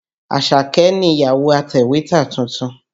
Àṣàkẹ́ nìyàwó atẹ̀wétà tuntun.